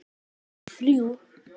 að essin eru þrjú!